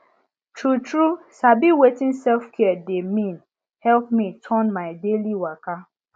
true true sabi wetin selfcare dey mean help me turn my daily waka